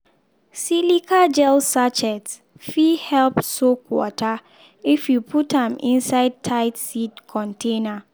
silica gel sachet fit help soak water if you put am inside tight seed container.